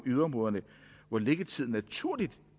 yderområderne hvor liggetiden naturligt